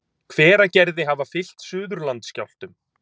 Hveragerði hafa fylgt Suðurlandsskjálftum.